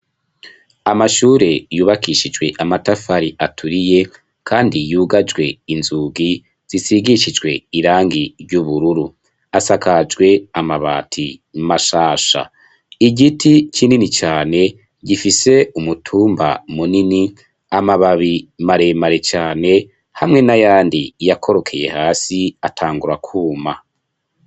Amashure yubakishijwe amatafari aturiye, kandi yugajwe inzugi zisigishijwe irangi ry'ubururu asakajwe amabati mashasha igiti kinini cane gifise umutumba munini amababi maremare cane hamwe na yandi iyakorokeye hasi atangura kwuma.